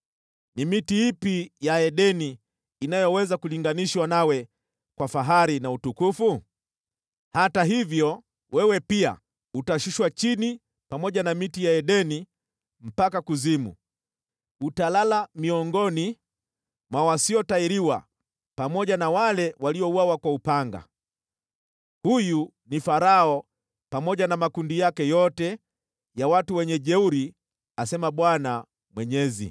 “ ‘Ni miti ipi ya Edeni inayoweza kulinganishwa nawe kwa fahari na utukufu? Hata hivyo, wewe pia, utashushwa chini pamoja na miti ya Edeni mpaka kuzimu, utalala miongoni mwa wasiotahiriwa, pamoja na wale waliouawa kwa upanga. “ ‘Huyu ni Farao pamoja na makundi yake yote ya wajeuri, asema Bwana Mwenyezi.’ ”